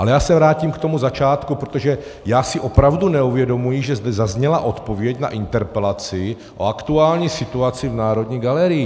Ale já se vrátím k tomu začátku, protože já si opravdu neuvědomuji, že zde zazněla odpověď na interpelaci o aktuální situaci v Národní galerii.